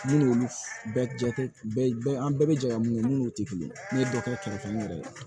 Minnu bɛ jate bɛɛ an an bɛɛ bɛ jɛ ka mun kɛ minnu tɛ kelen ye ne ye dɔ kɛ kɛlɛ ni yɛrɛ de ye